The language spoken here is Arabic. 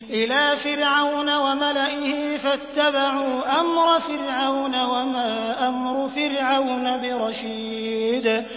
إِلَىٰ فِرْعَوْنَ وَمَلَئِهِ فَاتَّبَعُوا أَمْرَ فِرْعَوْنَ ۖ وَمَا أَمْرُ فِرْعَوْنَ بِرَشِيدٍ